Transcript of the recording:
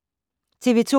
TV 2